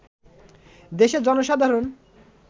দেশের জনসাধারণ